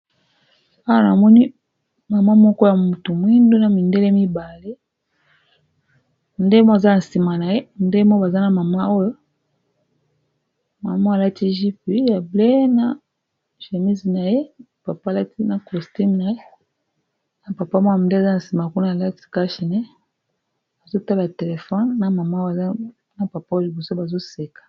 Awan amoni mama moko ya mutu mwindu na mindele mibale ndemo aza na nsima na ye ndemo baza na mama oyo mama alati gpu ya blae na gemise na ye papa alati na costume naye na papa mwaa m nde aza na nsima kuna alati cashine azotala telefone na mama oyo aza na papa oyo boso bazoseka